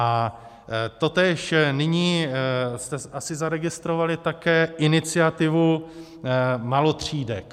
A totéž, nyní jste asi zaregistrovali také iniciativu malotřídek.